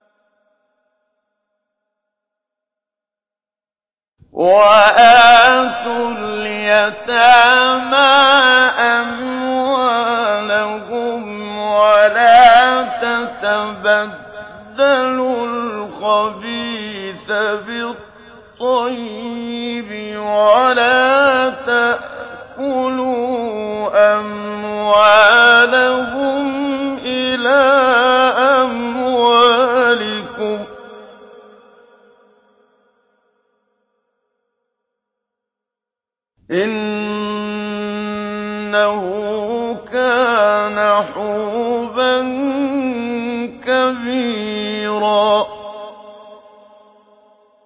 وَآتُوا الْيَتَامَىٰ أَمْوَالَهُمْ ۖ وَلَا تَتَبَدَّلُوا الْخَبِيثَ بِالطَّيِّبِ ۖ وَلَا تَأْكُلُوا أَمْوَالَهُمْ إِلَىٰ أَمْوَالِكُمْ ۚ إِنَّهُ كَانَ حُوبًا كَبِيرًا